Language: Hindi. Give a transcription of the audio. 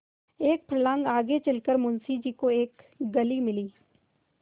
एक फर्लांग आगे चल कर मुंशी जी को एक गली मिली